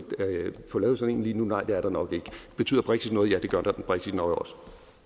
få lavet sådan en lige nu nej det er der nok ikke betyder brexit noget ja det gør brexit nok også